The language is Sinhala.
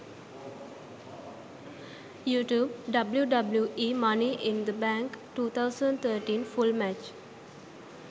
youtube wwe money in the bank 2013 full match